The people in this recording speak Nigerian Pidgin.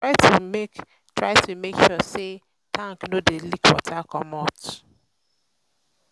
try to make try to make sure sey tank no dey leak water comot